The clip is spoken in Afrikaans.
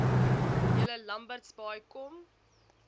julle lambertsbaai kom